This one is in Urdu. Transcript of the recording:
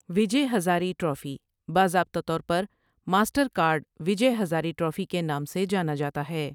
وجے ہزارے ٹرافی ، باضابطہ طور پر Mastercard Vijay Hazare trophy کے نام سے جانا جاتا ہے ۔